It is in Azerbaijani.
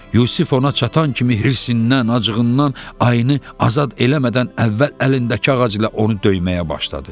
Yusif ona çatan kimi hirsindən, acığından ayını azad eləmədən əvvəl əlindəki ağac ilə onu döyməyə başladı.